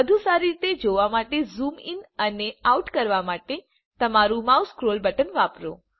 વધુ સારી રીતે જોવા માટે ઝૂમ ઇન અને આઉટ કરવા માટે તમારું માઉસનું સ્ક્રોલ બટન વાપરો